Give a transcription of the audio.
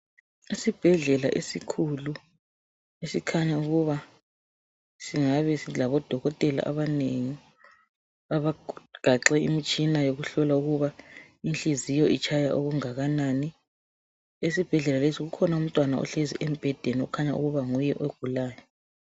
Esibhedlela esikhulu esikhanya ukuba singabe silabodokotela abanengi abagaxe imitshina yokuhlola ukuba inhliziyo itshaya okungakanani. Esibhedlela lesi kukhona umntwana ohlezi embhedeni okukhanya ukuba nguye ogulayo.